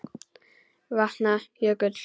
Vatna- jökull